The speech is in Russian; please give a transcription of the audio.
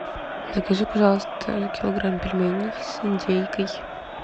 закажи пожалуйста килограмм пельменей с индейкой